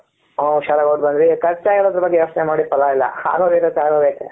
ಹು ಹುಷಾರಾಗಿ ಹೋಗಿಬಿಟ್ಟಿ ಬಂದ್ರಿ ಖರ್ಚಾಗಿರೋದ್ ಬಗ್ಗೆ ಯೋಚನೆ ಮಾಡಿ ಪಲ್ಲ ಇಲ್ಲ ಆಗೋಗಿರೋದು ಆಗೋಗಿದೆ.